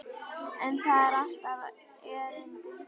En það á alltaf erindi.